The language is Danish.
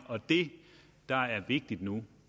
det der er vigtigt nu